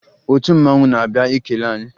Otu mmanwụ na-abịa ikele anyị